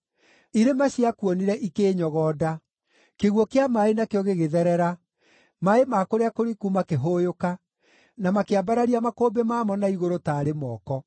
irĩma ciakuonire ikĩĩnyogonda. Kĩguũ kĩa maaĩ nakĩo gĩgĩtherera; maaĩ ma kũrĩa kũriku makĩhũũyũka, na makĩambararia makũmbĩ mamo na igũrũ taarĩ moko.